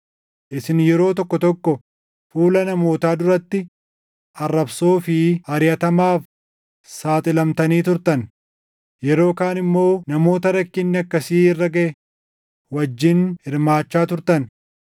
Isin yeroo tokko tokko fuula namootaa duratti arrabsoo fi ariʼatamaaf saaxilamtanii turtan; yeroo kaan immoo namoota rakkinni akkasii irra gaʼe wajjin hirmaachaa turtan.